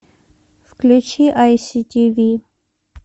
включи ай си ти ви